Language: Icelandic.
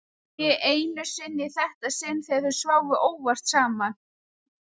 Ekki einu sinni í þetta sinn þegar þau sváfu óvart saman.